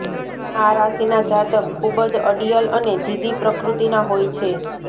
આ રાશિના જાતક ખૂબ જ અડિયલ અને જીદ્દી પ્રકૃતિના હોય છે